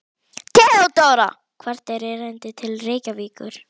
THEODÓRA: Hvert er erindið til Reykjavíkur?